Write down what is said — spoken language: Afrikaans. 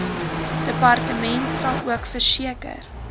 departement salook verseker